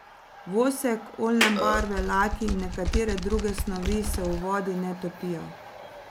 Vosek, oljne barve, laki in nekatere druge snovi se v vodi ne topijo.